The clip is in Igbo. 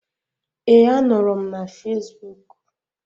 Ee, a nọrọ m na Fasbụk.